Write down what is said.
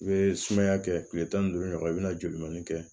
I bɛ sumaya kɛ kile tan ni duuru ɲɔgɔn i bɛna joli kɛ